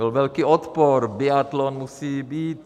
Byl velký odpor, biatlon musí být!